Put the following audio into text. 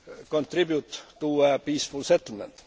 EU contribute to a peaceful settlement?